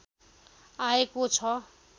आएको छ